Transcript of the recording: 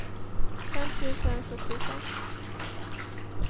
fem tusen sjuttiofem